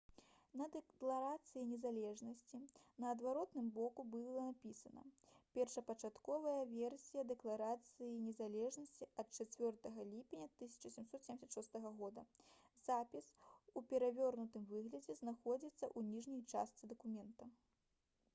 на дэкларацыі незалежнасці на адваротным боку былі напісана: «першапачатковая версія дэкларацыі незалежнасці ад 4 ліпеня 1776 года». запіс у перавернутым выглядзе знаходзіцца ў ніжняй частцы дакумента